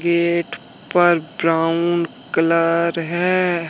Gate पर brown colour है।